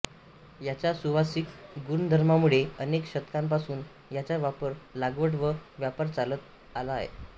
याच्या सुवासिक गुणधर्मामुळे अनेक शतकांपासून ह्याचा वापर लागवड व व्यापार चालत आला आहे